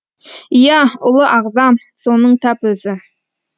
иә ұлы ағзам соның тап өзі